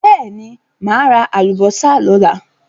Bẹ́ẹ̀ ni, máa ra àlùbọ́sà lọ́la.